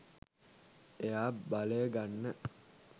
එයා බලය ගන්න